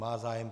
Má zájem.